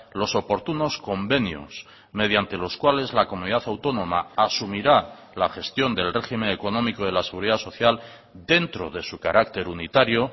los oportunos convenios mediante los cuales la comunidad autónoma asumirá la gestión del régimen económico de la seguridad social dentro de su carácter unitario